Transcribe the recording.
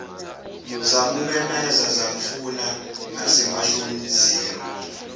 zamumemeza zamfuna nasemahlozini